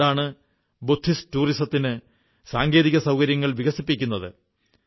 അതുകൊണ്ടാണ് ബുദ്ധിസ്റ്റ് ടൂറിസത്തിന് സാങ്കേതികസൌകര്യങ്ങൾ വികസിപ്പിക്കുന്നത്